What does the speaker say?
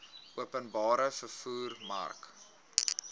openbare vervoer mark